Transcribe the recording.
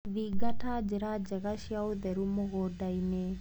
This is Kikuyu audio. Thingata njĩra njega cia ũtheru mũgundainĩ.